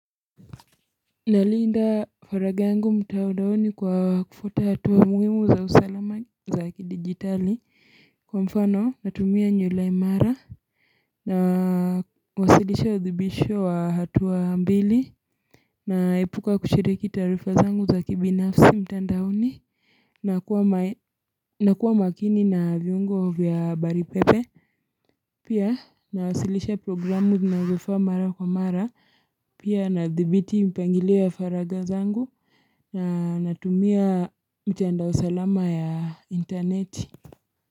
Nalinda faragha angu mtandaoni kwa kufwata hatuwa mwuhimu za usalama za kidigitali kwa mfano natumia nywila imara na wasilisha usibitisho wa hatuwa mbili na ipuka kuchiriki tarifa zangu za kibinafsi mtandaoni nakua na kuwa makini na viungo vya habari pepe Pia nawasilisha programu zinazo faa mara kwa mara. Pia nadhibiti mpangilio wa faraga zangu. Na natumia mtandao salama ya intarneti.